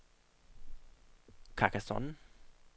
Carcassonne